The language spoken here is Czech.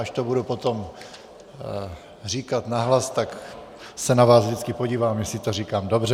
Až to budu potom říkat nahlas, tak se na vás vždycky podívám, jestli to říkám dobře.